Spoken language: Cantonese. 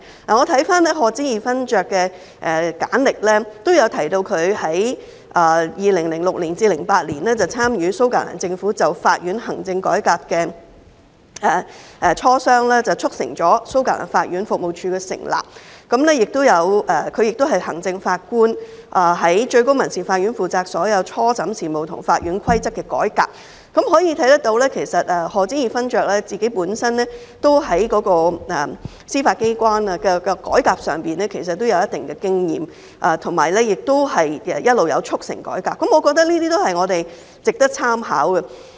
我翻看賀知義勳爵的簡歷，提到他在2006年至2008年期間參與蘇格蘭政府就法院行政改革的磋商，促成了蘇格蘭法院服務處的成立；他亦是行政法官，在最高民事法院負責所有初審事務和法院規則的改革，可見賀知義勳爵本身在司法機關的改革上具有一定的經驗，以及一直有促成改革，我認為這些都是我們值得參考的。